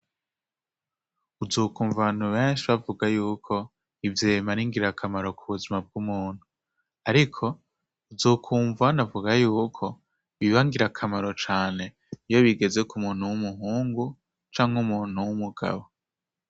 Uzokwumva abantu benshi bavuga y'uko ivyema ari ngira kamaro ku buzima bw'umuntu, ariko uzokwumva banavuga y'uko biba ngira kamaro cane iyo bigeze ku muntu w'umuhungu canke umuntu w'umugabo.